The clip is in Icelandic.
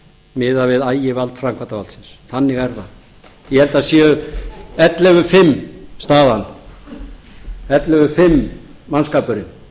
miðað við ægivald framkvæmdarvaldsins þannig er það ég held að það sé ellefu fimm staðan ellefu fimm mannskapurinn